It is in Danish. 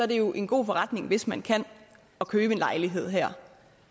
det jo en god forretning hvis man kan at købe en lejlighed her